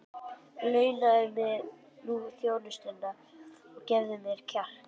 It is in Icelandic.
Launaðu mér nú þjónustuna og gefðu mér kjark!